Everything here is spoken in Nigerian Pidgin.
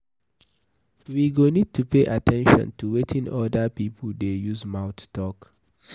We go need to pay at ten tion to wetin oda pipo dey use mouth talk